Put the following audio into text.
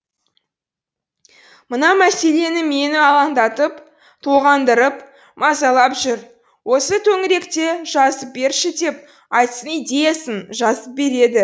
мына мәселе мені алаңдатып толғандырып мазалап жүр осы төңіректе жазып берші деп айтсын идеясын жазып береді